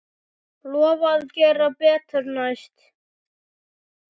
Lofa að gera betur næst.